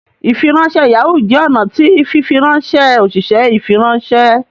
ifiranṣẹ Yahoo jẹ ọnà tí fifiranṣẹ oṣiṣẹ ifiranṣẹ